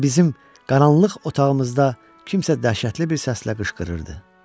Sanki bizim qaranlıq otağımızda kimsə dəhşətli bir səslə qışqırırdı.